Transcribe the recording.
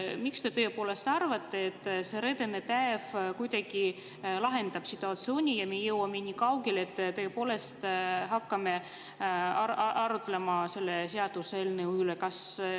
Miks te arvate, et see reedene päev kuidagi lahendab situatsiooni ja me jõuame niikaugele, et tõepoolest hakkame arutlema selle seaduseelnõu üle?